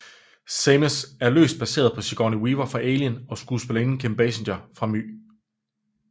Samus er løst baseret på Sigourney Weaver fra Alien og skuespillerinden Kim Basinger fra My